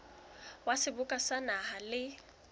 wa seboka sa naha le